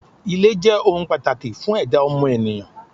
Ilé jé̩ ohun pàtàkì fún è̩dá o̩mo̩nìyàn.